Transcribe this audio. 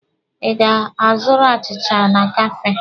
Ị ga-azụrụ achịcha na Kafee!